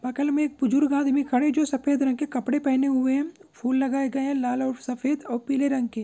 बगल में एक बुजुर्ग आदमी खड़े है जो सफ़ेद रंग के कपड़े पहने हुए है फूल लगाए गए हैं लाल और सफ़ेद और पीले रंग के।